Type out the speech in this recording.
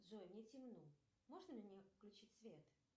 джой мне темно можно мне включить свет